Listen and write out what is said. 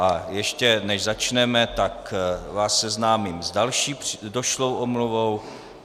A ještě než začneme, tak vás seznámím s další došlou omluvou.